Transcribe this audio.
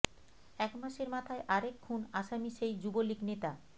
এক মাসের মাথায় আরেক খুন আসামি সেই যুবলীগ নেতা